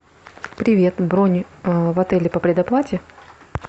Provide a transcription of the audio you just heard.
привет бронь в отеле по предоплате